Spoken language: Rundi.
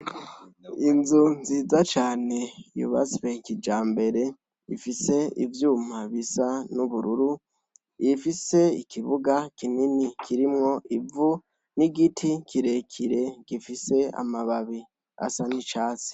Inzu nziza cane yubatswe kijambere ifise ivyuma bisa n'ubururu, ifise ikibuga kinini kirimwo ivu n'igiti kirekire gifise amababi asa n'icatsi.